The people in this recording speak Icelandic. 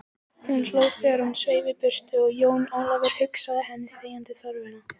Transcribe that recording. Hún hló þegar hún sveif í burtu og Jón Ólafur hugsað henni þegjandi þörfina.